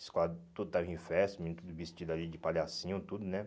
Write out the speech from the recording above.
Escola tudo estava em festa, os menino tudo vestido ali de palhacinho, tudo, né?